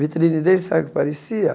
Vitrine dele sabe o que parecia?